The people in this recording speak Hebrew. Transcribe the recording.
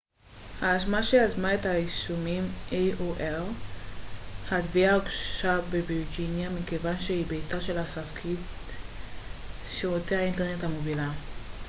התביעה הוגשה בווירג'יניה מכיוון שהיא ביתה של ספקית שירותי האינטרנט המובילה aol החברה שיזמה את האישומים